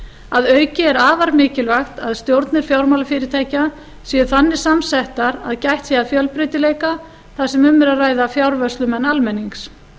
að auki er afar mikilvægt að stjórnir fjármálafyrirtækja séu þannig samsettar að gætt sé að fjölbreytileika þar sem um er að ræða fjárvörslumenn almennings